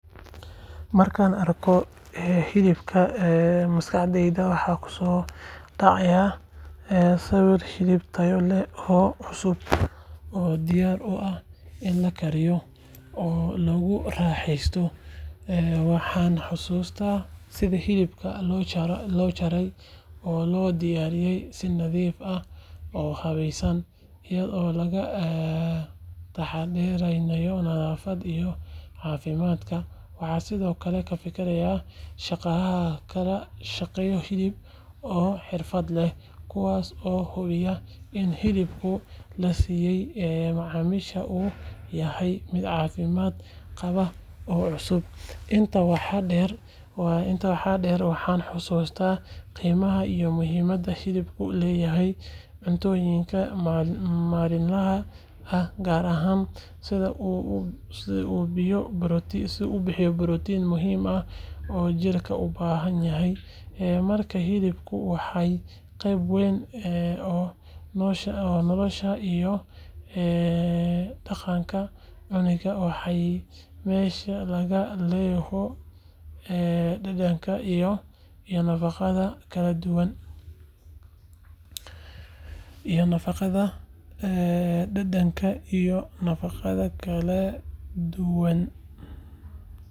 Markaan arko hilibka, maskaxdayda waxaa ku soo dhacaya sawirka hilib tayo leh oo cusub, oo diyaar u ah in la kariyo oo lagu raaxeysto. Waxaan xasuustaa sida hilibka loo jaray, oo loo diyaariyay si nadiif ah oo habaysan, iyadoo laga taxadarayo nadaafadda iyo caafimaadka. Waxaan sidoo kale ka fikiraa shaqaalaha ka shaqeeya hilibka oo xirfad leh, kuwaas oo hubinaya in hilibka la siiyo macaamiisha uu yahay mid caafimaad qaba oo cusub. Intaa waxaa dheer, waxaan xasuustaa qiimaha iyo muhiimadda hilibku leeyahay cuntooyinkeena maalinlaha ah, gaar ahaan sida uu u bixiyo borotiin muhiim ah oo jidhka u baahan yahay. Markaa hilibku waa qayb weyn oo nolosha iyo dhaqanka cunidda, waana meesha laga helo dhadhanka iyo nafaqada kala duwan.